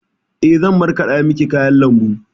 Eh, zan markaɗa miki kayan lambu.